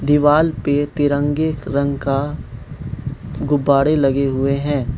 दीवाल पे तिरंगे रंग का गुब्बारे लगे हुए हैं।